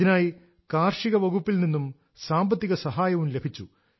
ഇതിനായി കാർഷിക വകുപ്പിൽ നിന്നും സാമ്പത്തിക സഹായവും ലഭിച്ചു